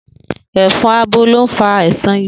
È̩fo̩n abo ló ń fa àìsàn ibà